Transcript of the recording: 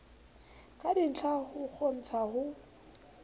ka ditlha ho kgontsha ho